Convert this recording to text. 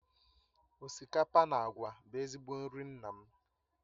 Osikapa na àgwà bụ ezigbo nri nna m